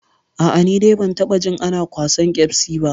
A'a, ni dai ban taɓa jin ana kwasan ƙyasbi ba.